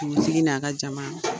n'a ka jama.